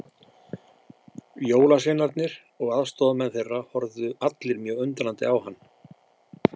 Jólasveinarnir og aðstoðarmenn þeirra horfðu allir mjög undrandi á hann.